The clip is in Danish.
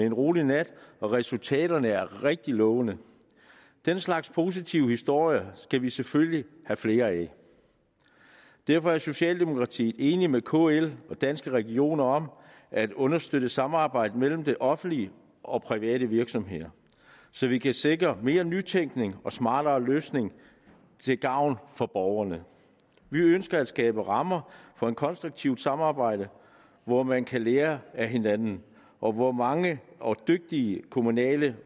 en rolig nat og resultaterne er rigtig lovende den slags positive historier skal vi selvfølgelig have flere af derfor er socialdemokratiet enig med kl og danske regioner om at understøtte samarbejdet mellem det offentlige og private virksomheder så vi kan sikre mere nytænkning og smartere løsninger til gavn for borgerne vi ønsker at skabe rammer for et konstruktivt samarbejde hvor man kan lære af hinanden og hvor mange dygtige kommunale